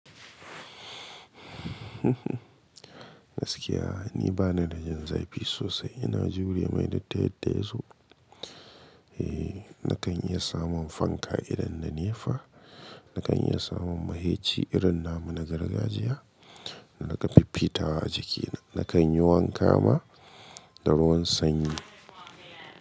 Gaskiya, ni bana da jan zaifi sosai. Ina jure mai da ta yadda ya zo. Eee, na kan iya samun fanka idan nlda nepa. Na kan iya samun maiheci irin nama na gargajiya da na ka fiffitawa a jikina. Na kan yi wanka ma da ruwan sanyi.